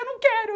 Eu não quero!